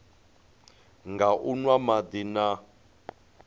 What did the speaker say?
nga u nwa madi na